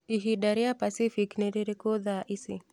ihinda rīa pacific nī rīrīkū thaa ici